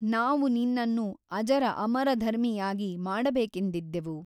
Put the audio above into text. ನಾವು ನಿನ್ನನ್ನು ಅಜರ ಅಮರಧರ್ಮಿಯಾಗಿ ಮಾಡಬೇಕೆಂದಿದ್ದೆವು.